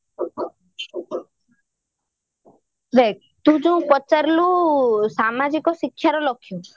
ଦେଖ ତୁ ଯୋଉ ପଚାରିଲୁ ସାମାଜିକ ଶିକ୍ଷାର ଲକ୍ଷ୍ୟ